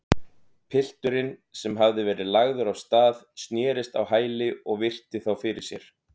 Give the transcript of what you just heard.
Pilturinn, sem hafði verið lagður af stað, snerist á hæli og virti þá fyrir sér.